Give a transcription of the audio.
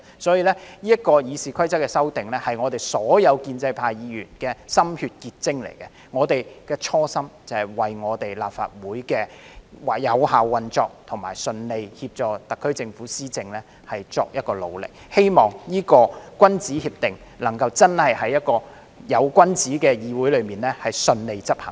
所以，是次《議事規則》的修訂是所有建制派議員的心血結晶，我們的初心是為立法會的有效運作和順利協助特區政府施政作努力，希望這個君子協定能真的在一個有君子的議會裏順利執行。